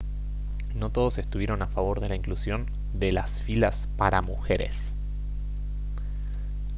no todos estuvieron a favor de la inclusión de las filas para mujeres